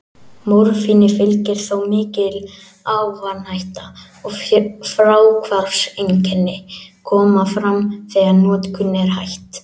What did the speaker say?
Morfíni fylgir þó mikil ávanahætta, og fráhvarfseinkenni koma fram þegar notkun er hætt.